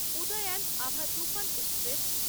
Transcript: Udayan Abha Toofan express